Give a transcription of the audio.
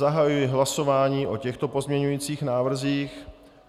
Zahajuji hlasování o těchto pozměňovacích návrzích.